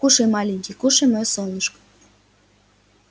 кушай маленький кушай моё солнышко